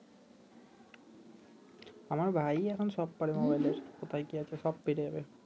আমার ভাই ই এখন সব পারে মোবাইলের কোথায় কি আছে সব পেরে যাবে